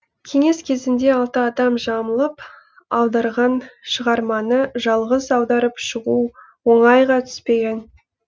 кеңес кезінде алты адам жамылып аударған шығарманы жалғыз аударып шығу оңайға түспеген